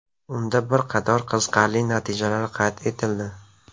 Unda bir qator qiziqarli natijalar qayd etildi.